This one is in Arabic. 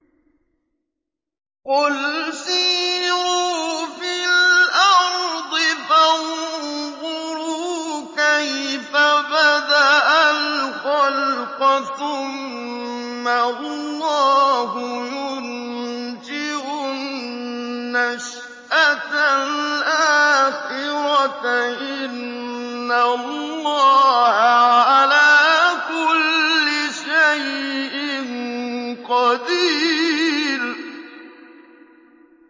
قُلْ سِيرُوا فِي الْأَرْضِ فَانظُرُوا كَيْفَ بَدَأَ الْخَلْقَ ۚ ثُمَّ اللَّهُ يُنشِئُ النَّشْأَةَ الْآخِرَةَ ۚ إِنَّ اللَّهَ عَلَىٰ كُلِّ شَيْءٍ قَدِيرٌ